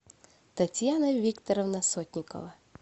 татьяна викторовна сотникова